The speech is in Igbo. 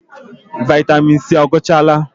Vaịtamịn C agwụchaala?